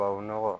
Tubabu nɔgɔ